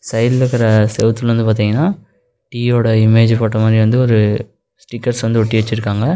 சைடுல கிற செவுத்துல வந்து பாத்தீங்ன்னா டீயோட இமேஜ் போட்டோ மாரி வந்து ஒரு ஸ்டிக்கர்ஸ் வந்து ஒட்டி வெச்சுருக்காங்க.